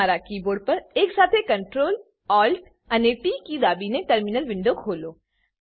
તમારા કીબોર્ડ પર Ctrl Alt અને ટી કી સાથે દાબીને ટર્મિનલ વિન્ડો ખોલો